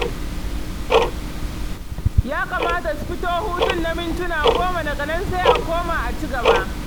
Ya kamata su fito hutun na muntuna goma daga nan sai a koma a ci gaba.